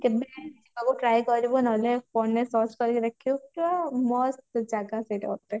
କେବେ try କରିବୁ ନହେଲେ phone ରେ search କରିକି ଦେଖିବୁ ପୁରା ମସ୍ତ ଜାଗା ସେଇଟା ଗୋଟେ